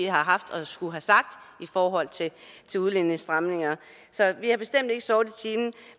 har haft at skulle have sagt i forhold til udlændingestramninger så vi har bestemt ikke sovet i timen